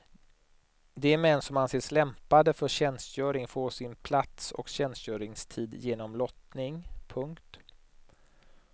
De män som anses lämpade för tjänstgöring får sin plats och tjänstgöringstid genom lottning. punkt